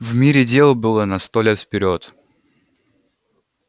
в мире дел было на сто лет вперёд